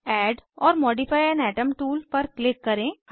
add or modify an atom tool पर click करें